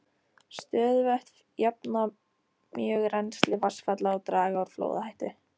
Stöðuvötn jafna mjög rennsli vatnsfalla og draga úr flóðahættu.